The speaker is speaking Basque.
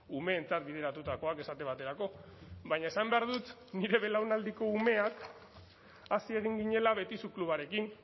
umeentzat bideratutakoak esate baterako baina esan behar dut nire belaunaldiko umeak hazi egin ginela betizu klubarekin